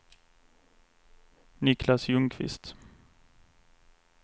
Niclas Ljungqvist